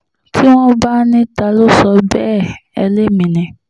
tí wọ́n bá ní ta ló sọ bẹ́ẹ̀ ẹ́ lémi ni